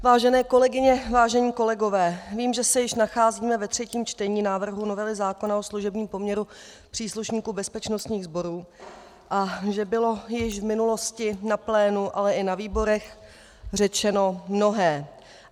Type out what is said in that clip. Vážené kolegyně, vážení kolegové, vím, že se již nacházíme ve třetím čtení návrhu novely zákona o služebním poměru příslušníků bezpečnostních sborů a že bylo již v minulosti na plénu, ale i na výborech řečeno mnohé.